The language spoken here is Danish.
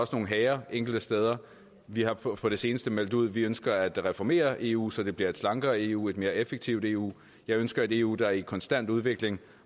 også nogle hager enkelte steder vi har på på det seneste meldt ud at vi ønsker at reformere eu så det bliver et slankere eu et mere effektivt eu jeg ønsker et eu der er i konstant udvikling